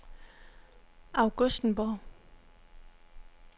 Augustenborg